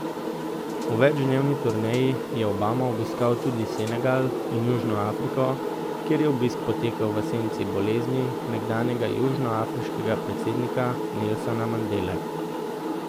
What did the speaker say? V večdnevni turneji je Obama obiskal tudi Senegal in Južno Afriko, kjer je obisk potekal v senci bolezni nekdanjega južnoafriškega predsednika Nelsona Mandele.